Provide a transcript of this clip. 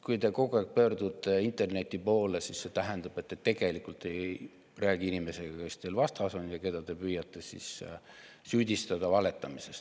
Kui te kogu aeg pöördute interneti poole, siis see tähendab, et te tegelikult ei räägi inimesega, kes teil vastas on ja keda te püüate süüdistada valetamises.